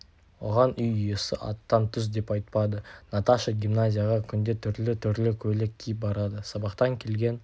оған үй иесі аттан түс деп айтпады наташа гимназияға күнде түрлі-түрлі көйлек киіп барады сабақтан келген